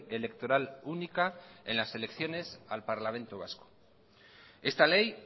electoral única en las elecciones al parlamento vasco esta ley